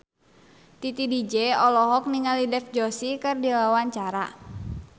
Titi DJ olohok ningali Dev Joshi keur diwawancara